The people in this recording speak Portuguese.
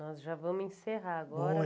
Nós já vamos encerrar agora.